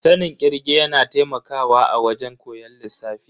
Sanin kirge yana taimakawa a wajen koyon lissafi.